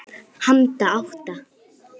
Handa átta